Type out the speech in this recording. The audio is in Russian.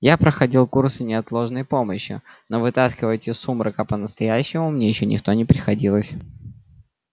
я проходил курсы неотложной помощи но вытаскивать из сумрака по-настоящему мне ещё никто не приходилось